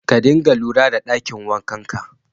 Ka dina lura da ɗakin wankanka